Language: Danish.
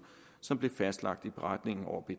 som blev fastlagt i beretningen over b